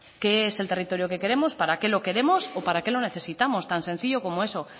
qué es el territorio que queremos para qué lo queremos o para qué lo necesitamos tan sencillo como eso